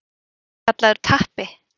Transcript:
Þú ert kallaður Tappi.